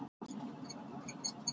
Réttur til frelsis í kynlífi